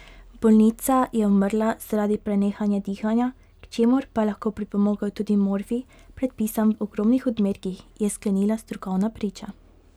Bolnica je umrla zaradi prenehanja dihanja, k čemur pa je lahko pripomogel tudi morfij, predpisan v ogromnih odmerkih, je sklenila strokovna priča.